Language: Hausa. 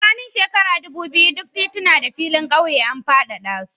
Tsakanin shekara ɗubu biyu duk tituna da filin ƙauyen an faɗaɗa su.